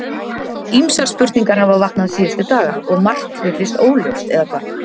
Ýmsar spurningar hafa vaknað síðustu daga og margt virðist óljóst, eða hvað?